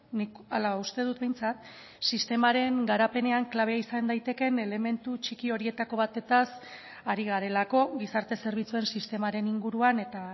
nik hala uste dut behintzat sistemaren garapenean klabe izan daitekeen elementu txiki horietako batez ari garelako gizarte zerbitzuen sistemaren inguruan eta